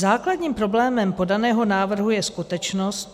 Základním problémem podaného návrhu je skutečnost...